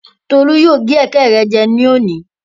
Tolú yóò gé ẹ̀kẹ́ rẹ jẹ lónìí.